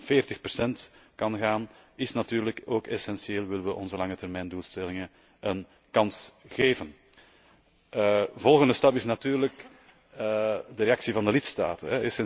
40 procent kan gaan, is natuurlijk ook essentieel willen we onze langetermijndoelstellingen een kans geven. De volgende stap is natuurlijk de reactie van de lidstaten.